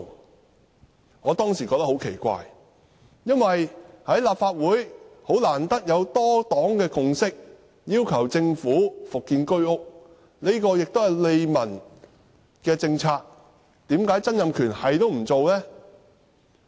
那時候我也覺得很奇怪，因為難得立法會有多黨共識，要求政府復建居屋，這也是利民的政策，為何曾蔭權沒有那樣做？